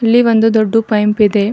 ಇಲ್ಲಿ ಒಂದು ದೊಡ್ಡು ಪೈಂಪ್ ಇದೆ.